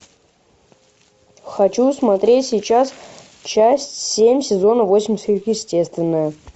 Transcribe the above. хочу смотреть сейчас часть семь сезона восемь сверхъестественное